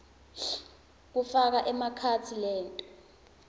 lokufaka ekhatsi leto